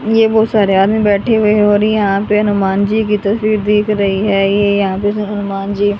ये बहुत सारे आदमी बैठे हुए है और यहां पे हनुमान जी की तस्वीर दिख रही है ये यहां पे ह ह हनुमान जी --